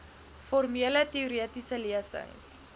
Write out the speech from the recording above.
formele teoretiese lesings